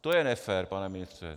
To je nefér, pane ministře!